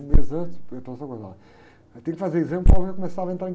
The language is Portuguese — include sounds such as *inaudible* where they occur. Um mês antes, *unintelligible* aí tem que fazer exame, o povo já começava a entrar em